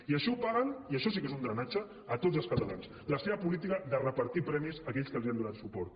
i això ho paguen i això sí que és un drenatge tots els catalans la seva política de repartir premis a aquells que els han donat suport